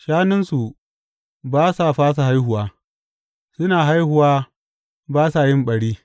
Shanunsu ba sa fasa haihuwa; suna haihuwa ba sa yin ɓari.